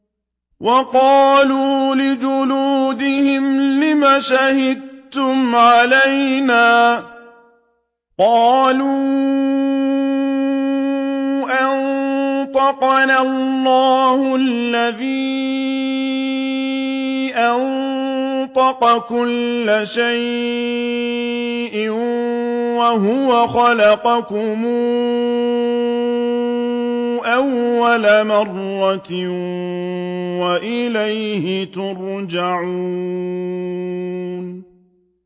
وَقَالُوا لِجُلُودِهِمْ لِمَ شَهِدتُّمْ عَلَيْنَا ۖ قَالُوا أَنطَقَنَا اللَّهُ الَّذِي أَنطَقَ كُلَّ شَيْءٍ وَهُوَ خَلَقَكُمْ أَوَّلَ مَرَّةٍ وَإِلَيْهِ تُرْجَعُونَ